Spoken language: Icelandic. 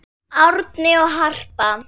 Árni og Harpa.